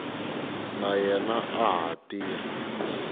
na yena a ha tirha